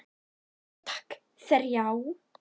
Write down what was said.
Já takk, þrjá.